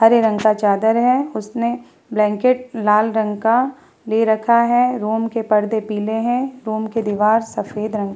हरे रंग का चादर है उसने ब्लैंकेट लाल रंग का ले रखा है रूम के परदे पिले हैं रूम की दीवार सफ़ेद रंग --